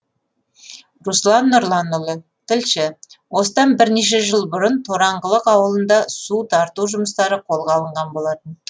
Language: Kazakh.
руслан нұрланұлы тілші осыдан бірнеше жыл бұрын тораңғылық ауылында су тарту жұмыстары қолға алынған болатын